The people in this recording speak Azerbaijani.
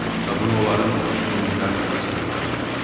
Və bunu onların üstünlükləri sırasına əlavə etmişdi.